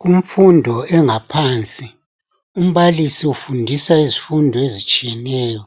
Kumfundo engaphansi umbalisi ufundisa izifundo ezitshiyeneyo